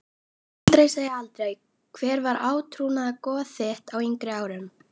Aldrei segja aldrei Hver var átrúnaðargoð þitt á yngri árum?